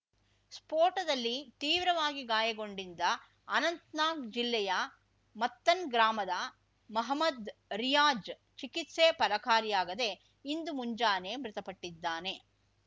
ಸ್ಫೋಟದಲ್ಲಿ ತೀವ್ರವಾಗಿ ಗಾಯಗೊಂಡಿದ್ದ ಅನಂತ್‌ನಾಗ್ ಜಿಲ್ಲೆಯ ಮತ್ತನ್‌ಗ್ರಾಮದ ಮೊಹ್ಮದ್ ರಿಯಾಜ್ ಚಿಕಿತ್ಸೆ ಫಲಕಾರಿಯಾಗದೆ ಇಂದು ಮುಂಜಾನೆ ಮೃತಪಟ್ಟಿದ್ದಾನೆ